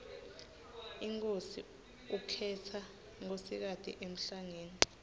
inkhosi ukhetsa nkosikati emhlangeni